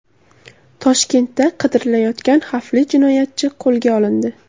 Toshkentda qidirilayotgan xavfli jinoyatchi qo‘lga olindi.